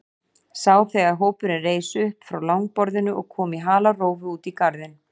Sá þegar hópurinn reis upp frá langborðinu og kom í halarófu út í garðinn.